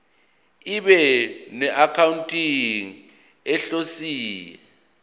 ibe noaccounting ihhovisir